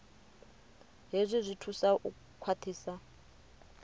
hezwi zwi thusa u khwaṱhisa